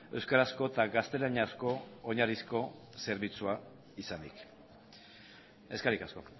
euskarazko eta gaztelaniazko oinarrizko zerbitzua izanik eskerrik asko